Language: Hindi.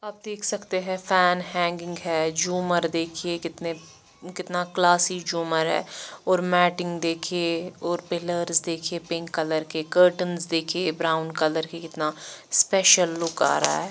आप देख सकते है फैन हैंगिंग है झूमर देखिये कितने कितना क्लासि झूमर है और मेटिंग देखिये और पिलर्स देखिये पिंक कलर के कर्टेन्स देखिये ब्राउन कलर के कितना स्पेशल लुक आ रहा है।